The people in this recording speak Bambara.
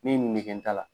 Min nɛgɛ ta la